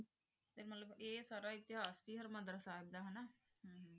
ਤੇ ਮਤਲਬ ਆਯ ਸਾਰਾ ਇਤਿਹਾਸ ਸੀ ਹਰ੍ਮੰਦਲ ਸਾਹਿਬ ਹਮ